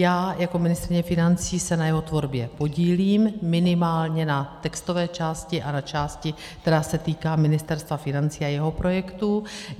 Já jako ministryně financí se na jeho tvorbě podílím, minimálně na textové části a na části, která se týká Ministerstva financí a jeho projektů.